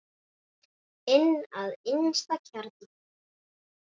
Inn að innsta kjarna.